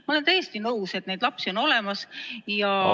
Ma olen täiesti nõus, et neid lapsi on olemas ja ...